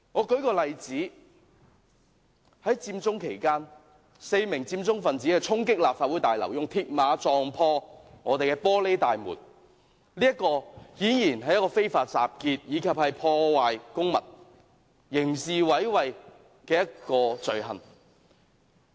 舉例來說，在佔中期間 ，4 名佔中分子衝擊立法會大樓，以鐵馬撞破玻璃大門，顯然犯了非法集結、破壞公物及刑事毀壞的罪行。